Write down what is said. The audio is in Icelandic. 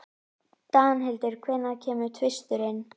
Danhildur, hvenær kemur tvisturinn?